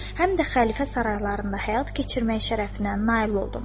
Həm də xəlifə saraylarında həyat keçirmək şərəfinə nail oldum.